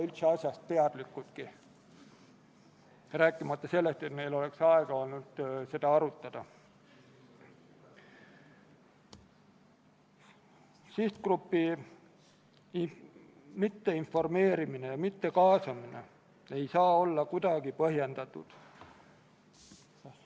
Muudatusettepanekute esitamise tähtajaks, k.a 9. oktoobriks kella 17.15-ks ei esitatud eelnõu kohta ühtegi muudatusettepanekut.